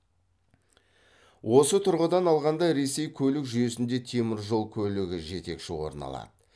осы тұрғыдан алғанда ресей көлік жүйесінде теміржол көлігі жетекші орын алады